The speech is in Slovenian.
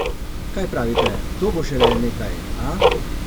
Kaj pravite, to bo šele nekaj, a?